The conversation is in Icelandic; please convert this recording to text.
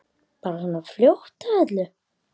Bara svona fljót að öllu.